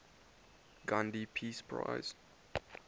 gandhi peace prize